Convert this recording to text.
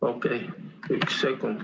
Okei, üks sekund.